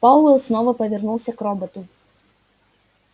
пауэлл снова повернулся к роботу